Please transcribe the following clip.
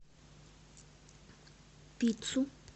пиццу